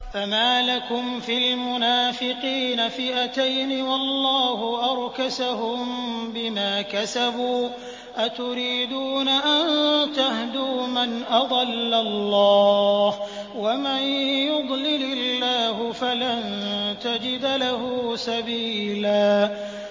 ۞ فَمَا لَكُمْ فِي الْمُنَافِقِينَ فِئَتَيْنِ وَاللَّهُ أَرْكَسَهُم بِمَا كَسَبُوا ۚ أَتُرِيدُونَ أَن تَهْدُوا مَنْ أَضَلَّ اللَّهُ ۖ وَمَن يُضْلِلِ اللَّهُ فَلَن تَجِدَ لَهُ سَبِيلًا